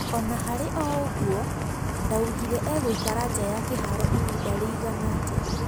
Ona harĩ o-ũguo, ndaugire egũikara nja ya kĩharo ihinda rĩigana atĩa.